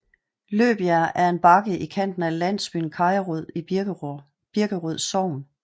Løbjerg er en bakke i kanten af landsbyen Kajerød i Birkerød Sogn